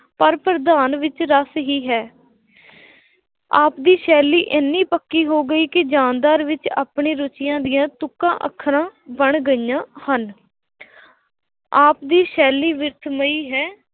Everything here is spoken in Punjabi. ਪਰ ਪ੍ਰਧਾਨ ਵਿੱਚ ਰਸ ਹੀ ਹੈ ਆਪ ਦੀ ਸ਼ੈਲੀ ਇੰਨੀ ਪੱਕੀ ਹੋ ਗਈ ਕਿ ਜਾਨਦਾਰ ਵਿੱਚ ਆਪਣੇ ਰੁੱਚੀਆਂ ਦੀਆਂ ਤੁੱਕਾਂ ਅੱਖਰਾਂ ਬਣ ਗਈਆਂ ਹਨ ਆਪ ਦੀ ਸ਼ੈਲੀ ਬਿਰਥ ਮਈ ਹੈ।